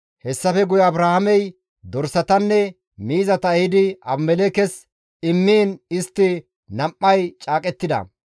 Hessafe guye Abrahaamey dorsatanne miizata ehidi Abimelekkes immiin istti nam7ay caaqettida.